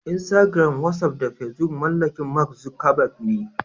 Instagram, Wasaf da Fesbuk mallakin "Mark Zuckerberg" ne.